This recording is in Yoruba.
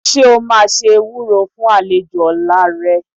Ṣé o máa ṣe ewúró fún àlejò ọ̀la rẹ?